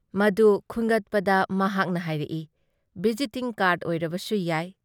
ꯃꯗꯨꯨ ꯈꯨꯟꯒꯠꯄꯗ ꯃꯍꯥꯛꯅ ꯍꯥꯏꯔꯛꯏ -"ꯚꯤꯖꯤꯇꯤꯡ ꯀꯥꯔ꯭ꯗ ꯑꯣꯏꯔꯕꯁꯨꯌꯥꯏ ꯫